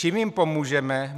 Čím jim pomůžeme?